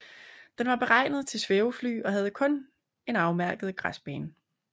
Den var beregnet til svævefly og havde kun en afmærket græsbane